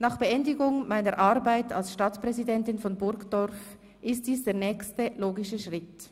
Nach Beendigung meiner Arbeit als Stadtpräsidentin von Burgdorf ist dies der nächste logische Schritt: